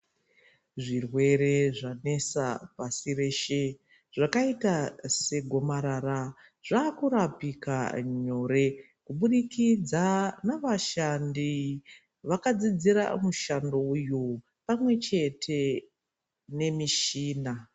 Zvirwere zvanesa pasi reshe, zvakayita segomarara zvakurapika nyore, kubudikidza navashandi vakadzidzira mushando uyu pamwe chete nemishina.